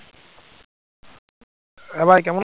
হ্যাঁ ভাই কেমন